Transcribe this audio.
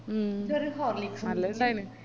മ് നല്ല രസായിന്